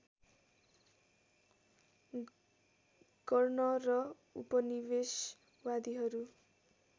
गर्न र उपनिवेशवादीहरू